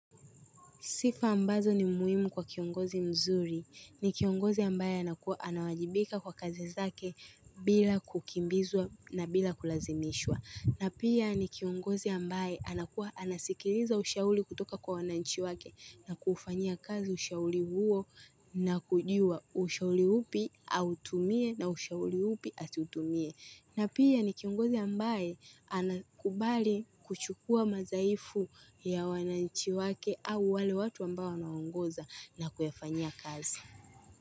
Sifa ambazo ni muhimu kwa kiongozi mzuri. Ni kiongozi ambaye anawajibika kwa kazi zake bila kukimbizwa na bila kulazimishwa. Na pia ni kiongozi ambaye anasikiliza ushauri kutoka kwa wananchi wake na kuufanyia kazi ushauri huo na kujua ushauri upi autumie na ushauri upi asitutumie. Na pia ni kiongozi ambaye anakubali kuchukua mazaifu ya wananchi wake au wale watu ambao wanaongoza na kuyafanyia kazi.